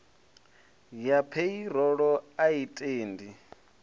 ya pheirolo a i tendi